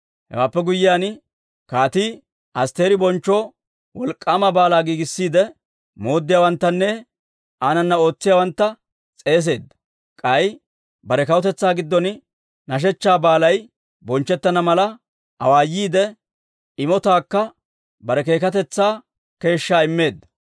Hewaappe guyyiyaan, kaatii Asttiri bonchchoo wolk'k'aama baalaa giigissiide, mooddiyaawanttanne aanana ootsiyaawantta s'eeseedda. K'ay bare kawutetsaa giddon nashechchaa baalay bonchchettana mala awaayiide, imotaakka bare keekatetsaa keeshshaa immeedda.